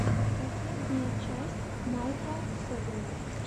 последняя часть майкла собина